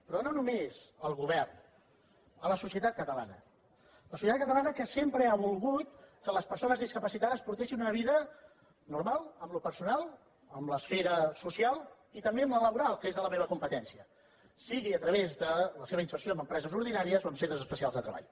però no només al govern a la societat catalana la societat catalana que sempre ha volgut que les persones discapacitades portessin una vida normal en allò personal en l’esfera social i també en la laboral que és de la meva competència sigui a través de la seva inserció en empreses ordinàries o en centres especials de treball